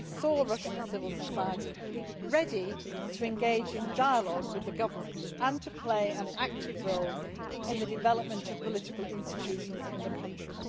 We saw Russian civil society ready to engage in dialogue with the government and to play an active role in the development of political institutions in the country.